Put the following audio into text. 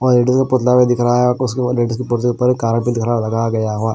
और एक जगह पुतला भी दिख रहा है और उस लगाया गया हुआ है।